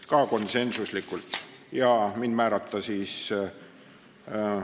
Komisjoni ettekandjaks otsustati määrata mind.